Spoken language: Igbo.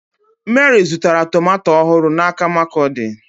Meri zụtara tomato ọhụrụ n'aka Markurdi.